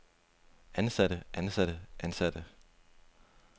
ansatte ansatte ansatte